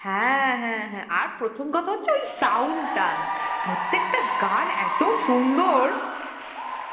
হ্যাঁ হ্যাঁ হ্যাঁ হ্যাঁ আর প্রথম কথা হচ্ছে ওই sound টা, প্রত্যেকটা গান এত সুন্দর